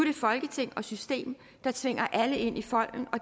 det folketing og system der tvinger alle ind i folden og